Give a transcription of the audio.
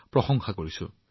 আপোনাক প্ৰশংসা কৰিছো